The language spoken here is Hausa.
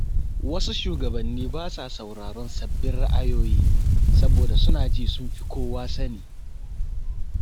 Wasu shugabanni ba sa sauraron sabbin ra’ayoyi, saboda suna jin sun fi kowa sani.